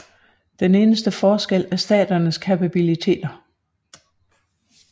Den eneste forskel er staternes kapabiliteter